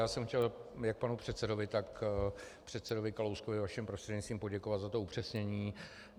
Já jsem chtěl jak panu předsedovi, tak předsedovi Kalouskovi vaším prostřednictvím poděkovat za to upřesnění.